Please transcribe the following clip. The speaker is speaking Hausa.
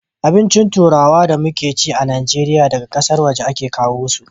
Abincin turawa da muke ci a najeriya daga ƙasar waje a ke kawo su